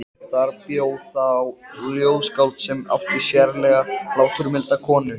Þar bjó þá ljóðskáld sem átti sérlega hláturmilda konu.